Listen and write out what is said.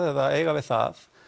eða eiga við það